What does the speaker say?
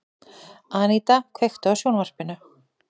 Aníta, kveiktu á sjónvarpinu.